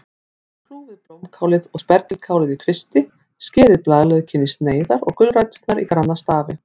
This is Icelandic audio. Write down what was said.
Kljúfið blómkálið og spergilkálið í kvisti, skerið blaðlaukinn í sneiðar og gulræturnar í granna stafi.